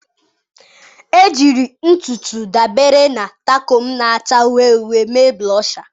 Ejiri ntụ ntụ dabere na takum na-acha uhie uhie mee Blosha.